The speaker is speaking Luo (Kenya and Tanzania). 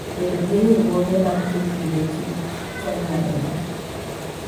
Bedo gi riwruoge mag jopithkich konyo ahinya.